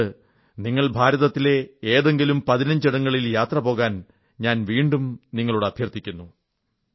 അതുകൊണ്ട് നിങ്ങൾ ഭാരതത്തിലെ ഏതെങ്കിലും 15 ഇടങ്ങളിൽ യാത്രപോകാൻ ഞാൻ വീണ്ടും നിങ്ങളോട് അഭ്യർഥിക്കുന്നു